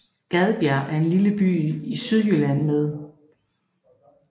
Gadbjerg er en lille by i Sydjylland med